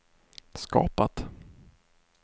skapat